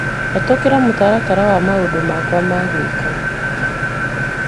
Hetũkĩra mũtaratara wa maũndũ makwa ma gwĩka.